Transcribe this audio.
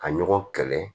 Ka ɲɔgɔn kɛlɛ